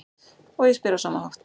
Og ég spyr á sama hátt: